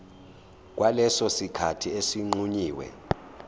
kwaleso sikhathi esinqunyiwe